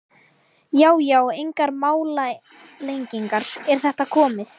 Já já, engar málalengingar, er þetta komið?